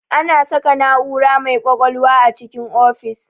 Ana saka na'ura mai ƙwaƙwalwa a cikin ofis